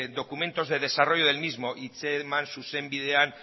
documentos de desarrollo del mismo hitzeman zuzenbidean